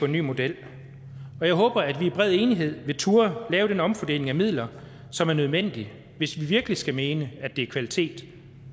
ny model og jeg håber at vi i bred enighed vil turde lave den omfordeling af midler som er nødvendig hvis vi virkelig skal mene at det er kvalitet